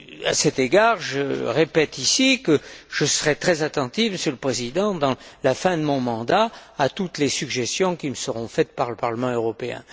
À cet égard, je répète que je serai très attentif, Monsieur le Président, dans la fin de mon mandat, à toutes les suggestions qui me seront faites par le Parlement européen.